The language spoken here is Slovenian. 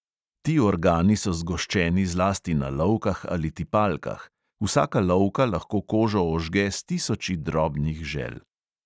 Ti organi so zgoščeni zlasti na lovkah ali tipalkah; vsaka lovka lahko kožo ožge s tisoči drobnih žel.